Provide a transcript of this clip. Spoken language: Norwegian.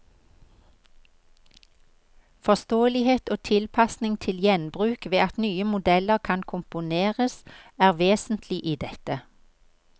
Forståelighet og tilpasning til gjenbruk ved at nye modeller kan komponeres, er vesentlig i dette.